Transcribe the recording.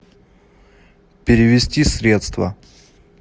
перевести средства